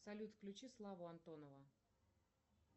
салют включи славу антонова